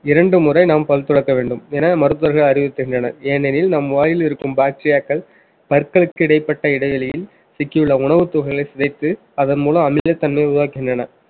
இரண்டு முறை நாம் பல் துலக்க வேண்டும் என மருத்துவர்கள் அறிவித்திருக்கின்றனர் ஏனெனில் நம் வாயில் இருக்கும் bacteria கள் பற்களுக்கு இடைப்பட்ட இடைவெளியில் சிக்கியுள்ள உணவுத் துகள்களை சிதைத்து அதன் மூலம் அமிலத்தன்மை உருவாக்குகின்றன